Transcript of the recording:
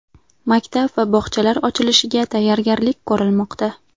Maktab va bog‘chalar ochilishiga tayyorgarlik ko‘rilmoqda.